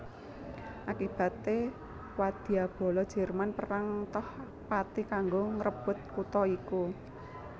Akibaté wadyabala Jerman perang toh pati kanggo ngrebut kutha iku